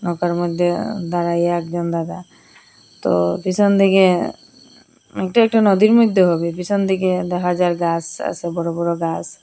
ফাঁকার মদ্যে আ দাঁড়াইয়া একজন দাদা তো পিসন দিকে এটা একটা নদীর মদ্যে হবে পিসোন দিকে দেখা যার গাস আসে বড় বড় গাস।